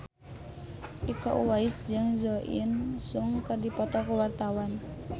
Iko Uwais jeung Jo In Sung keur dipoto ku wartawan